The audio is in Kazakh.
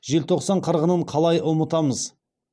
желтоқсан қырғынын қалай ұмытамыз